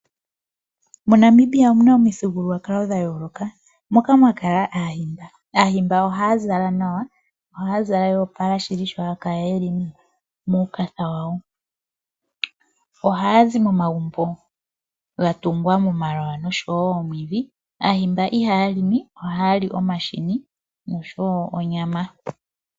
MoNamibia omuna omithigululwakalo dha yooloka moka mwa kala Aahimba. Aahimba ohaya zala nawa, ohaya zala ya opala shili sho haya kala ye li muukatha wawo. Ohaya zi momagumbo ga tungwa momaloya oshowo moomwiidhi. Aahimba ihaya limi ohaya li omahini noshowo onyama.